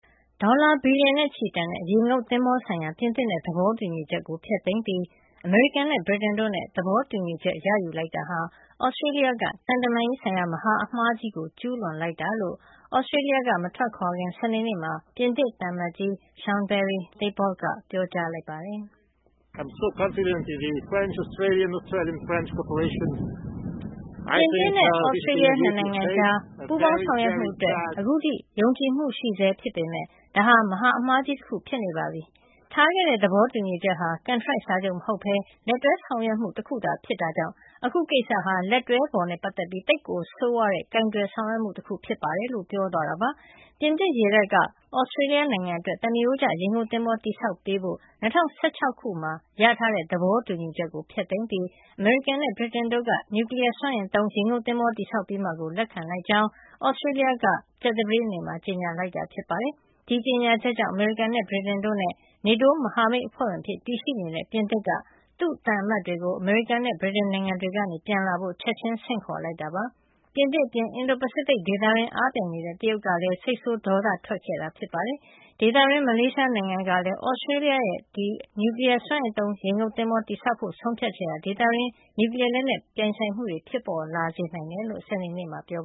ဒေါ်လာဘီလီယံနဲ့ချီတန်တဲ့ ရေငုပ်သင်္ဘောဆိုင်ရာ ပြင်သစ်နဲ့ သဘောတူညီချက်ကို ဖျက်သိမ်းပြီး အမေရိကန်၊ ဗြိတိန်တို့နဲ့ သဘောတူညီချက် ရယူလိုက်တာဟာ သြစတြေးလျက သံတမန်ရေးဆိုင်ရာ မဟာအမှားကြီးကို ကျူးလွန်လိုက်တာ ဖြစ်ကြောင်း သြစတြေးလျက မထွက်ခွာခင် စနေနေ့မှာ ပြင်သစ်သံအမတ်ကြီး Jean-Pierre Thebault က ပြောကြားလိုက်ပါတယ်။ “ပြင်သစ်နဲ့ သြစတြေးလျ ၂ နိုင်ငံကြား ပူးပေါင်းဆောင်ရွက်မှုအတွက် အခုထိ ယုံကြည်မှုရှိဆဲ ဖြစ်ပေမယ့် ဒါဟာ မဟာအမှားကြီးတခု ဖြစ်နေပါပြီ။ ထားခဲ့တဲ့ သဘောတူညီချက်ဟာ ကန်ထရိုက်စာချုပ်မဟုတ်ဘဲ လက်တွဲဆောင်ရွက်မှုတခုသာ ဖြစ်တာကြောင့် အခုကိစ္စဟာ လက်တွဲဖော်နဲ့ ပတ်သက်ပြီး သိပ်ကိုဆိုးဝါးတဲ့ ကိုင်တွယ်ဆောင်ရွက်မှုတခု ဖြစ်ပါတယ်။” လို့ ပြောသွားတာပါ။ ပြင်သစ်ရေတပ်က သြစတြေးလျအတွက် သမားရိုးကျ ရေငုပ်သင်္ဘော တည်ဆောက်ပေးဖို့ ၂၀၁၆ ခုနှစ်တုန်းက ရထားတဲ့ သဘောတူညီချက်ကို ဖျက်သိမ်းပြီး အမေရိကန်နဲ့ ဗြိတိန်တို့က နျူကလီးယားစွမ်းအင်သုံး ရေငုပ်သင်္ဘော တည်ဆောက်ပေးမှာကို လက်ခံလိုက်ကြောင်း သြစတြေးလျက သူတို့ ၃ နိုင်ငံ လုံခြုံရေး ပူးပေါင်းဆောင်ရွက်မှု ရခဲ့တဲ့နောက်ပိုင်း ကြာသပတေးနေ့က ကြေညာခဲ့တာ ဖြစ်ပါတယ်။ ဒီကြေညာချက်ကြောင့် အမေရိကန်၊ ဗြိတိန်တို့နဲ့ နေတိုးမဟာမိတ်အဖွဲ့ဝင်အဖြစ် ရှိနေတဲ့ ပြင်သစ်က သူ့သံအမတ်တွေကို အမေရိကန်နဲ့ ဗြိတိန်နိုင်ငံတွေကနေ ပြန်လာဖို့ ချက်ချင်းဆင့်ခေါ်ခဲ့တာပါ။ ပြင်သစ်အပြင် အင်ဒို-ပစိဖိတ်ဒေသတွင်း အားပြိုင်နေတဲ့ တရုတ်ကလည်း စိတ်ဆိုးဒေါသထွက်ခဲ့တာ ဖြစ်ပါတယ်။ ဒေသတွင်းနိုင်ငံတနိုင်ငံဖြစ်တဲ့ မလေးရှားကလည်း အခု သြစတြေးလျရဲ့ နျူကလီးယား စွမ်းအင်သုံး ရေငုပ်သင်္ဘော တည်ဆောက်ဖို့ ဆုံးဖြတ်ချက်ဟာ ဒေသတွင်း နျူကလီးယားလက်နက် ပြိုင်ဆိုင်မှုတွေ ဖြစ်လာစေနိုင်တယ်လို့ စနေနေ့မှာပဲ ပြော